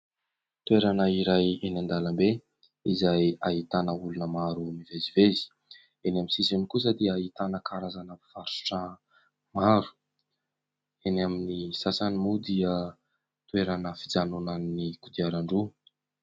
Toerana iray eny an-dàlambe izay ahitana olona maro mivezivezy. Eny amin'ny sisiny kosa dia ahitana karazana mpivarotra maro. Eny amin'ny sasany moa dia toerana fijanonan'ny kodiaran-droa.